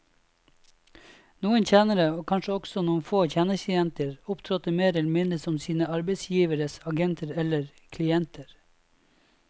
Noen tjenere, og kanskje også noen få tjenestejenter, opptrådte mer eller mindre som sine arbeidsgiveres agenter eller klienter.